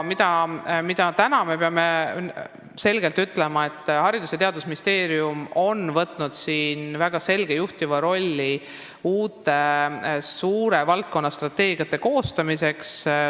Aga täna saab selgelt ütelda, et Haridus- ja Teadusministeerium on võtnud väga selgelt juhtiva rolli uute suurte valdkonnastrateegiate koostamisel.